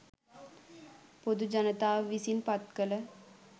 පොදු ජනතාව විසින් පත්කළ